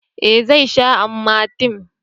eh zai sha amatem